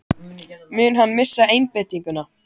Mun hann missa einbeitinguna?